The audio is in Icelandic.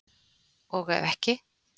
Og ef ekki?